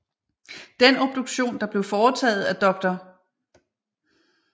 Den obduktion der blev foretaget af dr